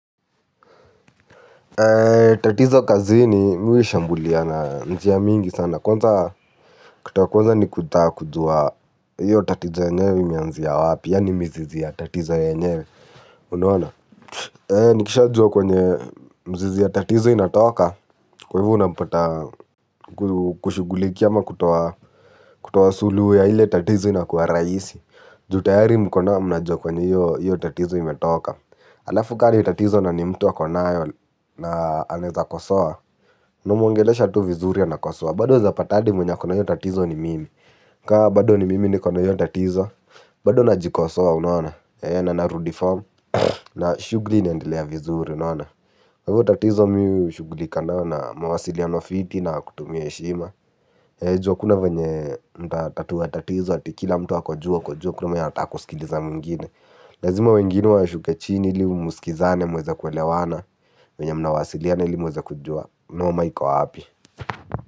Tatizo kazini mi huishambulia na njia mingi sana. Kwanza kitu ya kwanza ni kutaka kujua hiyo tatizo yenyewe imeanzia wapi. Yaani mizizi ya tatizo yenyewe. Unaona? Nikisha jua kwenye mzizi ya tatizo inatoka. Kwa hivyo unapata kushughuliki ama kutoa suluhu ya ile tatizo inakuwa rahisi. Juu tayari mkona mnajua kwenye hiyo tatizo imetoka. Halafu ka ni tatizo na ni mtu akonayo na anaeza kosoa. Unamuongelesha tu vizuri anakosoa. Bado unaeza pata hadi mwenye akona hiyo tatizo ni mimi. Kaa bado ni mimi nikona hiyo tatizo. Bado najikosoa unaona. Eena narudi form. Na shughuli inaendelea vizuri unaona. Kwa hivyo tatizo mi hushughulika nayo na mawasiliano fiti na kutumia heshima. Eeh juu hakuna venye mtatatua tatizo ati kila mtu ako juu uko juu hakuna mwenye anataka kusikiliza mwingine. Lazima wengine washuke chini ili musikizane mweze kuelewana. Venye mnawasiliana ili mweze kujua. Noma iko wapi.